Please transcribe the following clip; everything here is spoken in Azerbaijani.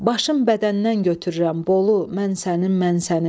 Başın bədəndən götürürəm, Bolu, mən sənin, mən sənin.